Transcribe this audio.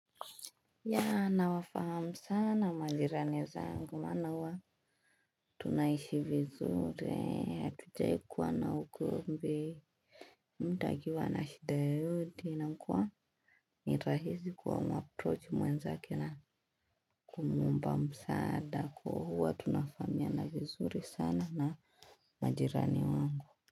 Ya na wafahamu sana majirani zangu maana huwa tunaishi vizuri hatujaikuwa na ugomvi mda akiwa na shida yote inakua nirahisi kuamuaproach mwenza kena kumuomba msaada kwa huwa tunafahamia na vizuri sana na majirani wangu.